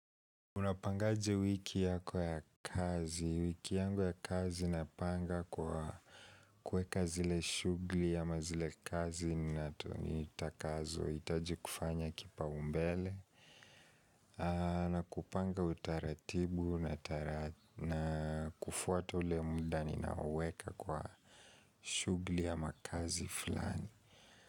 Unapangaje wiki yako ya kazi, wiki yangu ya kazi napanga kwa kuweka zile shughuli ama zile kazi na nitakazohitaji kufanya kipaumbele na kupanga utaratibu na kufuata ule muda ninaoweka kwa shughuli ama kazi fulani.